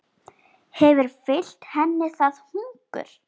Hefur fylgt henni það hungur.